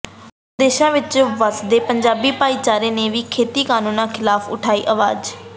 ਵਿਦੇਸ਼ਾਂ ਵਿਚ ਵਸਦੇ ਪੰਜਾਬੀ ਭਾਈਚਾਰੇ ਨੇ ਵੀ ਖੇਤੀ ਕਾਨੂੰਨਾਂ ਖਿਲਾਫ ਉਠਾਈ ਆਵਾਜ਼